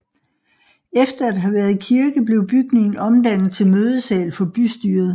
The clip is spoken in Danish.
Efter at have været kirke blev bygningen omdannet til mødesal for bystyret